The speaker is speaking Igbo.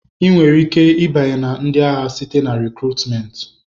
Ị nwere ike ịbanye na ndị agha site na rịkrutmenti.